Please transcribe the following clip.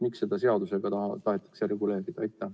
Miks seda seadusega tahetakse reguleerida?